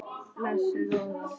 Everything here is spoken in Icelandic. Blessuð góða.